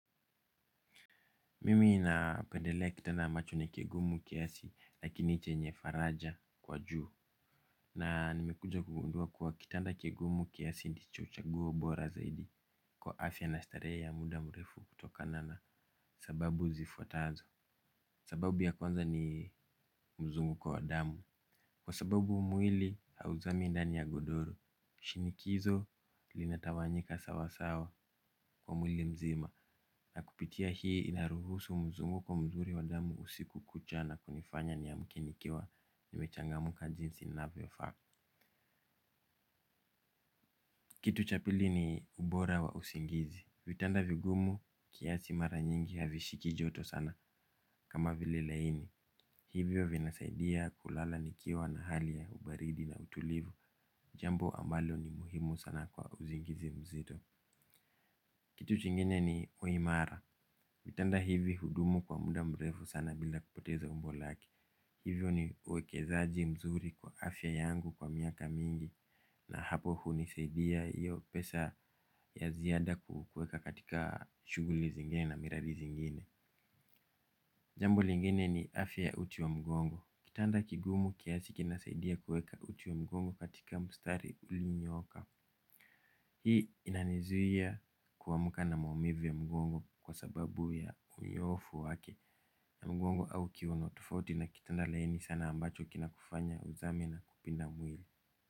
Mimi napendelea kitanda ambacho ni kigumu kiasi lakini chenye faraja kwa juu. Na nimekuja kugundua kuwa kitanda kigumu kiasi ndicho uchaguo bora zaidi kwa afya na starehe ya muda mrefu kutokana na sababu zifuatazo. Sababu ya kwanza ni mzunguko wa damu. Kwa sababu mwili hauzami ndani ya godoro. Shinikizo linatawanyika sawasawa kwa mwili mzima. Na kupitia hii inaruhusu mzunguko mzuri wa damu usiku kucha na kunifanya niamke nikiwa nimechangamka jinsi inavyofaa. Kitu cha pili ni ubora wa usingizi. Vitanda vigumu kiasi mara nyingi havishiki joto sana kama vile laini. Hivyo vinasaidia kulala nikiwa na hali ya ubaridi na utulivu. Jambo ambalo ni muhimu sana kwa usingizi mzito. Kitu chingine ni uimara. Kitanda hivi hudumu kwa muda mrefu sana bila kupoteza umbo lake. Hivyo ni uwekezaaji mzuri kwa afya yangu kwa miaka mingi na hapo huni saidia iyo pesa ya ziada kukuweka katika shughuli zingine na miradi zingine. Jambo lingine ni afya uti wa mgongo. Kitanda kigumu kiasi kinasaidia kuweka uti wa mgongo katika mstari ulionyoka. Hii inanizuia kuamka na maumivu ya mgongo kwa sababu ya unyoofu wake na mgongo au ukiwa na kitanda laini ambacho kinakufanya uzame na kupinda mwili.